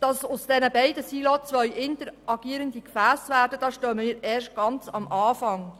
Damit aus diesen beiden Silos zwei interagierende Gefässe werden, muss noch viel Arbeit geleistet werden.